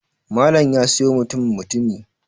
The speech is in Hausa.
Malam ya siyo mutum mutumi